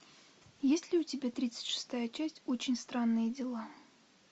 есть ли у тебя тридцать шестая часть очень странные дела